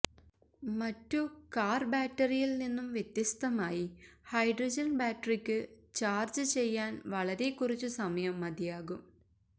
മറ്റു കാർ ബാറ്ററിയിൽ നിന്നും വ്യത്യസ്ഥമായി ഹൈഡ്രജൻ ബാറ്ററിക്ക് ചാർജ് ചെയ്യാൻ വളരെ കുറച്ച് സമയം മതിയാകും